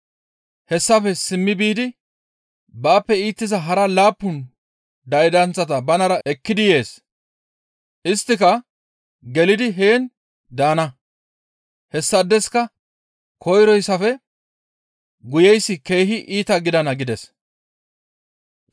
Hessafe simmi biidi baappe iitiza hara laappun daydanththata banara ekkidi yees; isttika gelidi heen daana; hessaadeska koyroyssafe guyeyssi keehi iita gidana» gides.